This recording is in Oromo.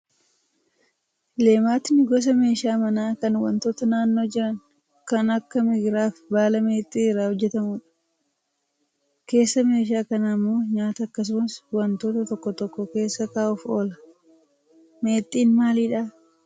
Leematni gosa meeshaa manaa kan wantoota naannoo jiran kan akka migiraa fi baala meexxii irraa hojjatamudha. Keessa meeshaa kanaa immoo nyaata akkasumas wantoota tokko tokko keessa kaa'uuf oola. Meexxiin maalidhaa?